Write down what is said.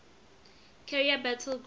carrier battle group